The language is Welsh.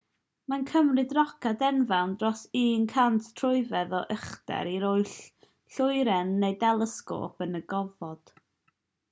mae'n cymryd roced enfawr dros 100 troedfedd o uchder i roi lloeren neu delesgôp yn y gofod